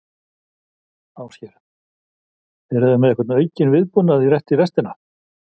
Ásgeir: Eruð þið með einhvern aukinn viðbúnað, rétt í restina?